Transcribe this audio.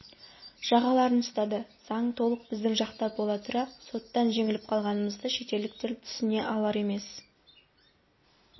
жағаларын ұстады заң толық біздің жақта бола тұра соттан жеңіліп қалғанымызды шетелдіктер түсіне алар емес